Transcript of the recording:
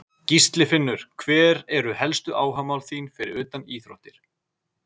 Gísli Finnur Hver eru helstu áhugamál þín fyrir utan íþróttir?